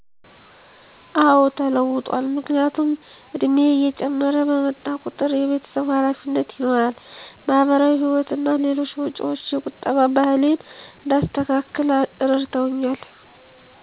አዎ ተለውጧል፣ ምክንያቱም እድሜየ እየጨመረ በመጣ ቁጠር የቤተሰብ ሀላፊነት ይኖራል፣ ማሀበራዊ ህይወት እና ሌሎች ወጭዎች የቁጠባ ባህሌን እንዳስተካክል እረድተውኛል።